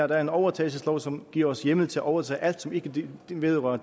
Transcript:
der er en overtagelseslov som giver os hjemmel til at overtage alt som ikke direkte vedrører